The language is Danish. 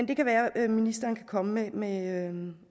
det kan være at ministeren kan komme med en